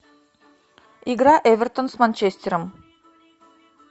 игра эвертон с манчестером